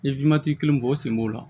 N ye kelen fɔ o sen b'o la